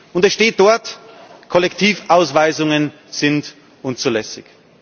Und es steht dort Kollektivausweisungen sind unzulässig.